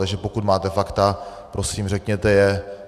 Takže pokud máte fakta, prosím, řekněte je.